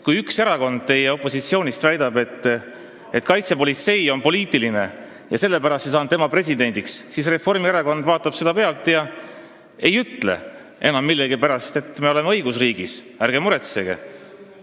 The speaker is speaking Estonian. Kui üks erakond opositsioonist väidab, et kaitsepolitsei on poliitiline ja sellepärast ei saanud üks inimene presidendiks, siis Reformierakond vaatab seda pealt ega ütle millegipärast, et meil on õigusriik, ärge muretsege,